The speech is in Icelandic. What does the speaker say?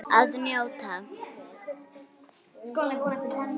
Að njóta.